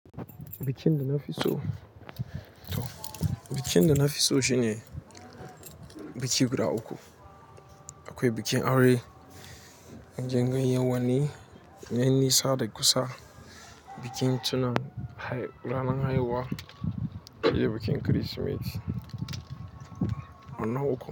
Bikin da na fi so, to, bikin da na fi so shine biki guda uku. Akwai bikin aure, wajen ganyen wani, ganyen nisa da kusa, bikin tuna ranar haihuwa, shine bikin Kirsimeti. Wannan uku.